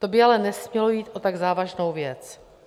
To by ale nesmělo jít o tak závažnou věc.